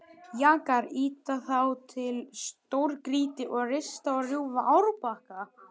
Jakar ýta þá til stórgrýti og rista og rjúfa árbakka.